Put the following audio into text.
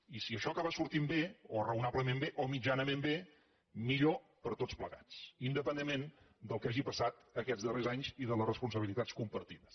i si això acaba sortint bé o raonablement bé o mitjanament bé millor per a tots plegats independentment del que hagi pas·sat aquests darrers anys i de les responsabilitats com·partides